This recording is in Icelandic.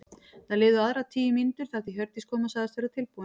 Það liðu aðrar tíu mínútur þar til Hjördís kom og sagðist vera tilbúin.